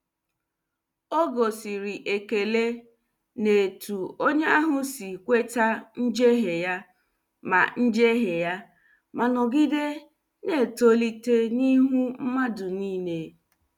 Ọ gosiri ekele n' etu onye ahụ si kweta njehie ya ma njehie ya ma nọgide na- etolite n' ihu mmadụ niile.